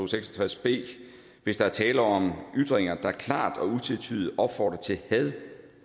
seks og tres b hvis der er tale om ytringer der klart og utvetydigt opfordrer til had